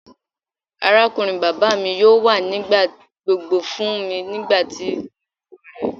Arakunrin baba mi yoo wa nigbagbogbo fun mi nigbati mo nilo rẹ.